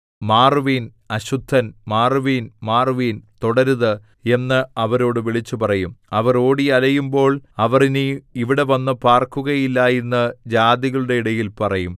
മാറുവിൻ അശുദ്ധൻ മാറുവിൻ മാറുവിൻ തൊടരുത് എന്ന് അവരോട് വിളിച്ചുപറയും അവർ ഓടി അലയുമ്പോൾ അവർ ഇനി ഇവിടെ വന്ന് പാർക്കയില്ല എന്ന് ജാതികളുടെ ഇടയിൽ പറയും